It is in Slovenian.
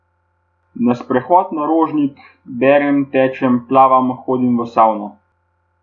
Na sprehod na Rožnik, berem, tečem, plavam, hodim v savno.